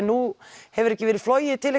nú hefur ekki verið flogið til